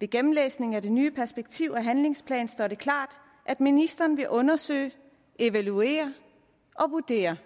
ved gennemlæsningen af den nye perspektiv og handlingsplan står det klart at ministeren vil undersøge evaluere og vurdere